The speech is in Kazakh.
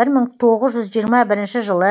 бір мың тоғыз жүз жиырма бірінші жылы